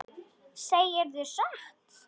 Segirðu satt?